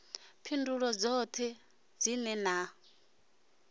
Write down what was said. phindulo dzoṱhe dzine na ḓo